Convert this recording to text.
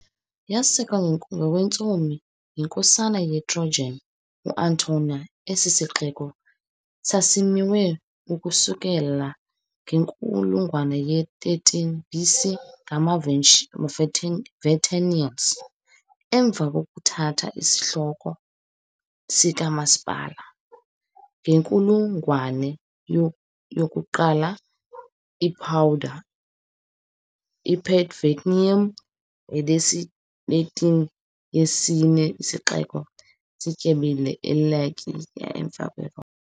Yasekwa ngokwentsomi yiNkosana yeTrojan uAntenor, esi sixeko sasimiwe ukusukela ngenkulungwane ye-13 BC ngamaVenetians . Emva kokuthatha isihloko sikamasipala, ngenkulungwane yoku-1 iPadua, "iPatavium" ngesiLatini, yayisesona sixeko sityebileyo e-Italiya emva kweRoma .